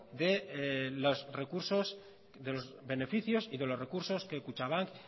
de los beneficios y de los recursos que kutxabank